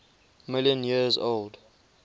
million years old